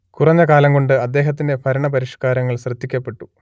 കുറഞ്ഞ കാലം കൊണ്ട് അദ്ദേഹത്തിന്റെ ഭരണ പരിഷ്കാരങ്ങൾ ശ്രദ്ധിക്കപ്പെട്ടു